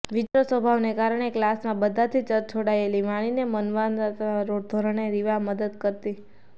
વિચિત્ર સ્વભાવને કારણે કલાસમાં બધાથી તરછોડાયેલી વાણીને માનવતાના ધોરણે રીવા મદદ કરતી